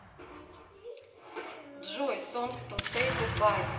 джой сонг ту сэй гудбай